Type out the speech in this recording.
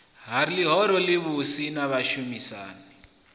ha ḽihoro ḽivhusi na vhashumisani